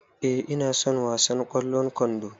E, ina son wasan ƙwallon kwando.